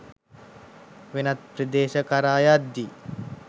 වෙනත් ප්‍රදේශ කරා යද්දී